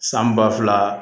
San ba fila